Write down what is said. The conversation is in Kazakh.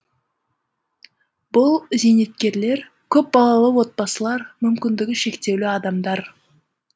бұл зейнеткерлер көп балалы отбасылар мүмкіндігі шектеулі адамдар